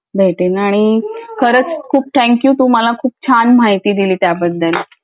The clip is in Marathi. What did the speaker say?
भेटेन आणि खरंच खूप थंक यू तू मला छान माहिती दिली त्याबद्दल